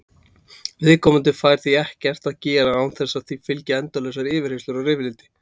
Viðkomandi fær því ekkert að gera án þess að því fylgi endalausar yfirheyrslur og rifrildi.